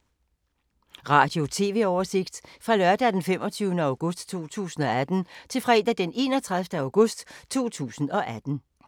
Radio/TV oversigt fra lørdag d. 25. august 2018 til fredag d. 31. august 2018